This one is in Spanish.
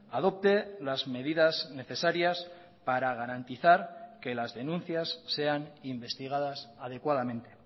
adopte las medidas necesarias para garantizar que las denuncias sean investigadas adecuadamente